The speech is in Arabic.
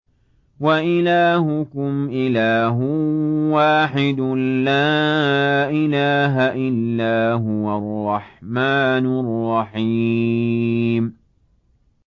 وَإِلَٰهُكُمْ إِلَٰهٌ وَاحِدٌ ۖ لَّا إِلَٰهَ إِلَّا هُوَ الرَّحْمَٰنُ الرَّحِيمُ